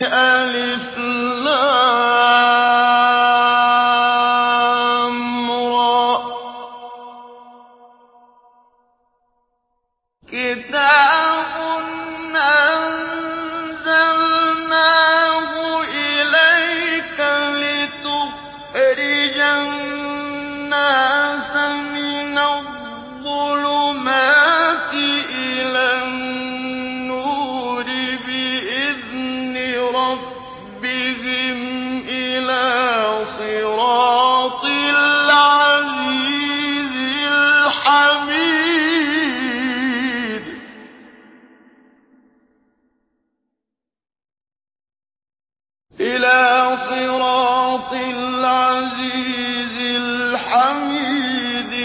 الر ۚ كِتَابٌ أَنزَلْنَاهُ إِلَيْكَ لِتُخْرِجَ النَّاسَ مِنَ الظُّلُمَاتِ إِلَى النُّورِ بِإِذْنِ رَبِّهِمْ إِلَىٰ صِرَاطِ الْعَزِيزِ الْحَمِيدِ